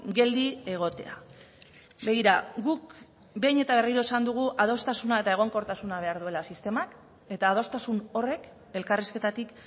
geldi egotea begira guk behin eta berriro esan dugu adostasuna eta egonkortasuna behar duela sistemak eta adostasun horrek elkarrizketatik